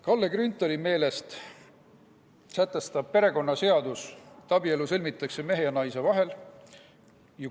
Kalle Grünthali meelest sätestab perekonnaseadus, et abielu sõlmitakse mehe ja naise vahel.